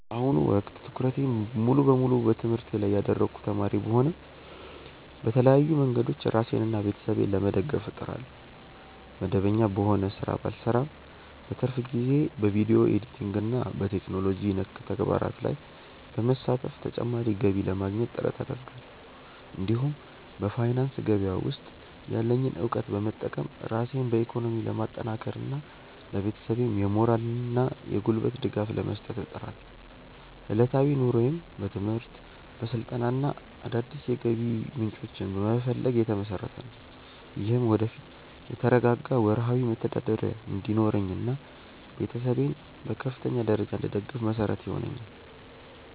በአሁኑ ወቅት ትኩረቴን ሙሉ በሙሉ በትምህርቴ ላይ ያደረግኩ ተማሪ ብሆንም፣ በተለያዩ መንገዶች ራሴንና ቤተሰቤን ለመደገፍ እጥራለሁ። መደበኛ በሆነ ሥራ ባልሰማራም፣ በትርፍ ጊዜዬ በቪዲዮ ኤዲቲንግና በቴክኖሎጂ ነክ ተግባራት ላይ በመሳተፍ ተጨማሪ ገቢ ለማግኘት ጥረት አደርጋለሁ። እንዲሁም በፋይናንስ ገበያ ውስጥ ያለኝን እውቀት በመጠቀም ራሴን በኢኮኖሚ ለማጠናከርና ለቤተሰቤም የሞራልና የጉልበት ድጋፍ ለመስጠት እጥራለሁ። ዕለታዊ ኑሮዬም በትምህርት፣ በስልጠናና አዳዲስ የገቢ ምንጮችን በመፈለግ ላይ የተመሰረተ ነው። ይህም ወደፊት የተረጋጋ ወርሃዊ መተዳደሪያ እንዲኖረኝና ቤተሰቤን በከፍተኛ ደረጃ እንድደግፍ መሰረት ይሆነኛል።